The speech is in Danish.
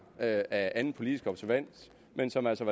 af anden politisk observans men som altså